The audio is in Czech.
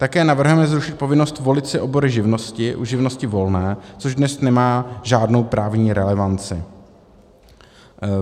Také navrhujeme zrušit povinnost volit si obory živnosti u živnosti volné, což dnes nemá žádnou právní relevanci.